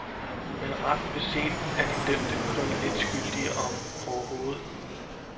Men ret beset er de dømte kun lidt skyldige, om overhovedet.